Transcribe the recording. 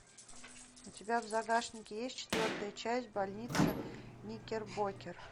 у тебя в загашнике есть четвертая часть больница никербокер